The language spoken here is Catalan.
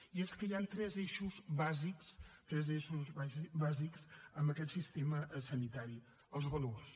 i és que hi han tres eixos bàsics tres eixos bàsics en aquest sistema sanitari els valors